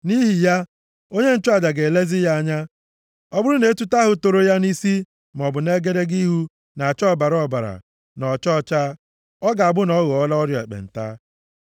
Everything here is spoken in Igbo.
Nʼihi ya, onye nchụaja ga-elezi ya anya. Ọ bụrụ na etuto ahụ toro ya nʼisi maọbụ nʼegedege ihu na-acha ọbara ọbara, na ọcha ọcha, ọ ga-abụ na ọ ghọọla ọrịa ekpenta.